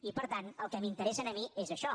i per tant el que m’interessa a mi és això